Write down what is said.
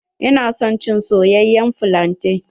Ina son cin soyayyen flante.